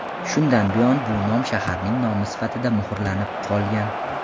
Shundan buyon bu nom shaharning nomi sifatida muhrlarnib qolgan.